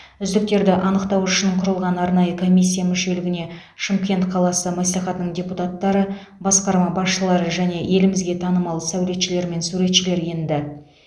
үздіктерді анықтау үшін құрылған арнайы комиссия мүшелігіне шымкент қаласы мәслихатының депутаттары басқарма басшылары және елімізге танымал сәулетшілер мен суретшілер енді